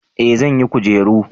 eh zan yi kujeru